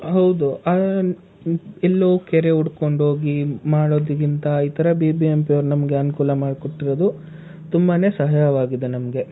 ಹೌದು ಎಲ್ಲೊ ಕೆರೆ ಹುಡ್ಕೊಂಡು ಹೋಗಿ ಮಾಡೋದಕ್ಕಿಂತ ಈ ತರ BBMP ಯವ್ರು ನಮ್ಗೆ ಅನುಕೂಲ ಮಾಡ್ ಕೊಟ್ಟಿರೋದು ತುಂಬಾನೆ ಸಹಾಯವಾಗಿದೆ ನಮ್ಗೆ.